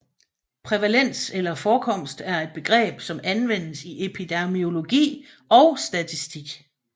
Prævalens eller forekomst er et begreb som anvendes i epidemiologi og statistik